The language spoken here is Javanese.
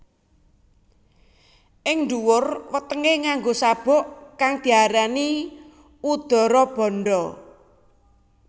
Ing ndhuwur wetengé nganggo sabuk kang diarani Udarabandha